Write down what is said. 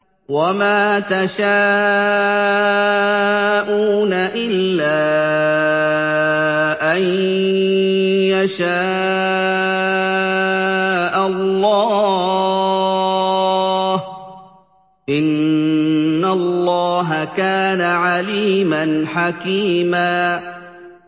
وَمَا تَشَاءُونَ إِلَّا أَن يَشَاءَ اللَّهُ ۚ إِنَّ اللَّهَ كَانَ عَلِيمًا حَكِيمًا